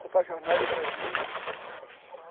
Copa Jornal do Brasil.